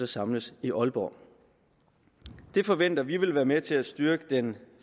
samlet i aalborg det forventer vi vil være med til at styrke den